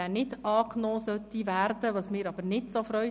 Ich schlage Ihnen folgendes Vorgehen vor: